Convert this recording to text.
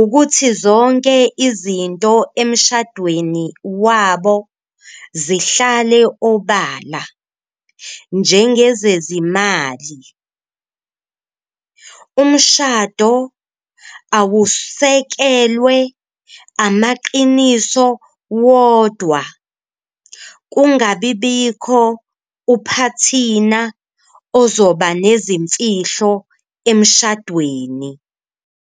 ukuthi zonke izinto emshadweni wabo zihlale obala njengezezimali. Umshado awusekelwe amaqiniso wodwa, kungabi bikho uphathina ozoba nezimfihlo emshadweni.